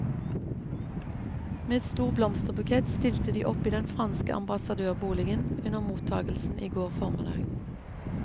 Med stor blomsterbukett stilte de opp i den franske ambassadørboligen under mottagelsen i går formiddag.